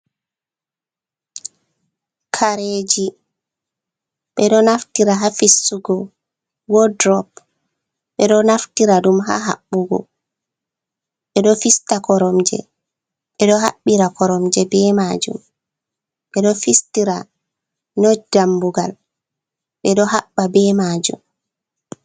Kareji ɓe ɗo naftira ha fistugo wodrop, ɓe ɗo naftira ɗum ha haɓɓugo, ɓe ɗo fista koromje, ɓe ɗo haɓɓira koromje be majum, ɓe ɗo fistira not dammugal, ɓe ɗo habba be majum.